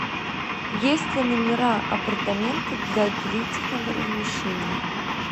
есть ли номера апартаменты для длительного размещения